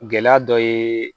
Gɛlɛya dɔ ye